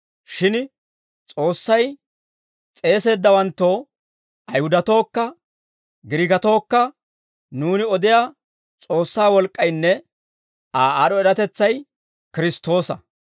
Shin S'oossay s'eeseeddawanttoo Ayihudatookka Giriikatookka nuuni odiyaa S'oossaa wolk'k'aynne Aa aad'd'o eratetsay Kiristtoosa.